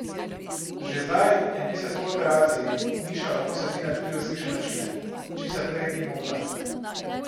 Že zdaj, en mesec po operaciji, Miša lahko sedi na tri različne načine, česar prej ni mogla.